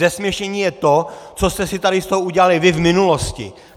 Zesměšnění je to, co jste si tady z toho udělali vy v minulosti!